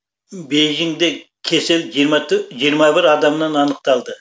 бейжіңде кесел жиырма бір адамнан анықталды